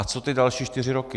A co ty další čtyři roky?